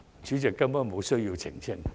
主席，我根本無需澄清。